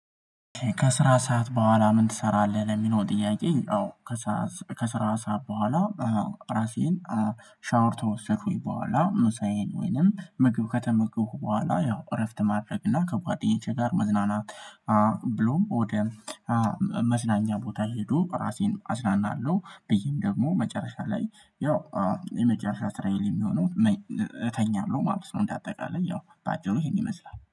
ከስራ ሰዓት በኋላ ምን ትሰራለህ? ለሚለው ጥያቄ አዎ ከስራ ከስራ ሰዓት በኋላ፤ አዎ ራሴን ሻወር ከወሰድኩኝ በኋላ ሙሳዬን ወይንም ምግብ ከተመገቡ በኋላ፤ ያው እረፍት ማድረግ ነው። እና ከጓደኞቼ ጋር መዝናናት ብሎም ወደ መዝናኛ ቦታ ሄጄ ራሴን አዝናናለሁ። ብዬም ደግሞ መጨረሻ ላይ ያው የመጨረሻ ስራዬ የሚሆነው እተኛለሁ ማለት ነው። እንደ አጠቃላይ ያው በአጭሩ ይሄን ይመስላል።